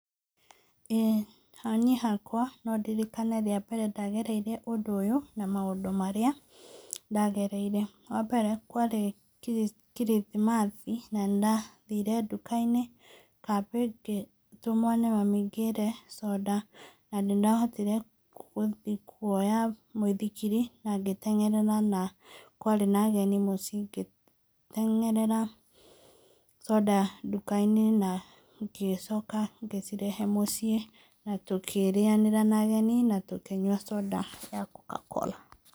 Ĩĩ ha niĩ hakwa no ndirikane rĩa mbere ndagereire ũndũ ũyũ, na maũndũ marĩa ndagereire. Wa mbere, kwarĩ kirithimathi na nĩndathire nduka-inĩ kambĩ, ngĩtũmwo nĩ mami ngĩre conda, na nĩndahotire gũthi kuoya mũithikiri na ngĩteng'erera na kwarĩ na ageni mũciĩ, ngĩteng'erera conda nduka-inĩ na ngĩcoka ngĩcirehe mũciĩ, na tũkĩrĩanĩra na ageni na tũkĩnyua conda ya kokakora.